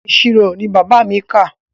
Ìṣirò ni bàbá mi kà.